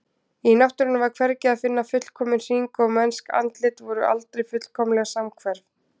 Í náttúrunni var hvergi að finna fullkominn hring og mennsk andlit voru aldrei fullkomlega samhverf.